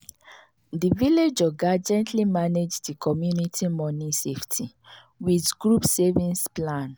the village oga gently manage the community money safety wit group savings plan.